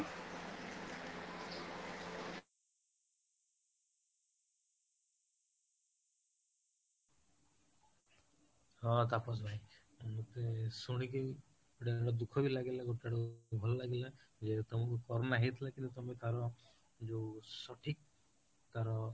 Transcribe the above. ହଁ ତାପସ ଭାଇ ମତେ ଶୁଣିକି ଗୋଟେ ଦୁଃଖ ବି ଲାଗିଲା ଗୋଟେ ଆଡୁ ଭଲ ବି ଲାଗିଲା ଯେହେତୁ ତମକୁ corona ହେଇଥିଲା କିନ୍ତୁ କର ଯୋଉ ସଠିକ ତାର